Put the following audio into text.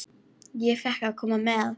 Ég fékk að koma með.